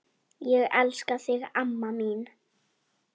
Ég elska þig amma mín.